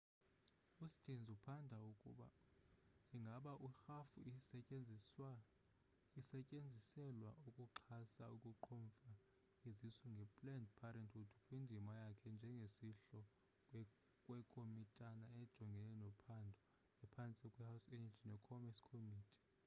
ustearns uphanda ukuba ingaba irhafu isetyenziselwa ukuxhasa ukuqhomfa izisu nge-planned parenthood kwindima yakhe njengosihlalo wekomitana ejongene nophando ephantsi kwe-house energy ne commerce committe